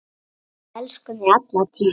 Við elskum þig alla tíð.